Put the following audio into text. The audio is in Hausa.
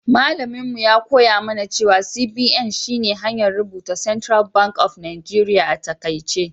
Mallaminmu ya koya mana cewa CBN shi ne hanyar rubuta Central bank of Nigeria a taƙaice.